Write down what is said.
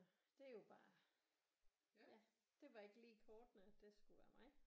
Det er jo bare ja det var bare ikke lige i kortene at det skulle være mig